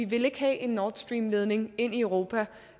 vil have en nord stream ledning ind i europa